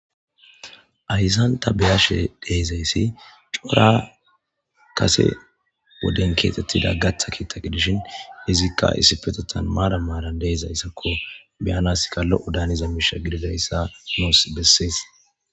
aysanta beyashe deizayssi cora kase woden keexxettida gatha kiitaqi dishin izikka issifetotan maara maalan deizayssakko beyanaska lo7o daaniza miisha gididayssa noos bessees